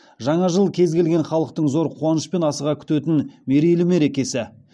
жаңа жыл кез келген халықтың зор қуанышпен асыға күтетін мерейлі мерекесі